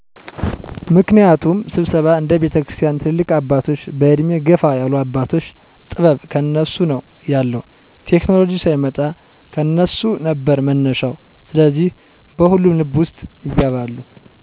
ምክንያቱም ስብሰባ እነ ቤተክርስቲያን ትልልቅ አባቶች በዕድሜ ገፋ ያሉ አባቶች ጥበብ ከነሱ ነው ያለዉ ቴክኮሎጂ ሳይመጣ ከነሱ ነበር መነሻው ስለዚህ በሁሉም ልብ ውስጥ ይገባሉ።